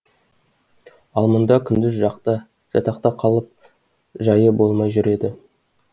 ал мұнда күндіз жатақта қалып жайы болмай жүр еді